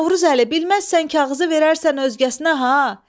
Novruzəli, bilməzsən kağızı verərsən özgəsinə ha.